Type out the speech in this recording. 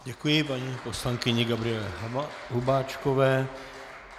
Děkuji paní poslankyni Gabriele Hubáčkové.